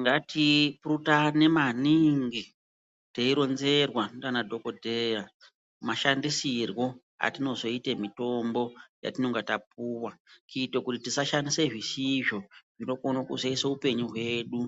Ngatipurutane maningi teironzerwa ndianadhokodheya, mashandisirwo atinozoite mitombo yatinonga tapuwa. Kuite kuti tisashandisa zvisizvo, zvinokona kuzoisa upenyu hwedu